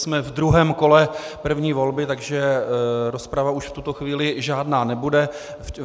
Jsme v druhém kole první volby, takže rozprava už v tuto chvíli žádná nebude.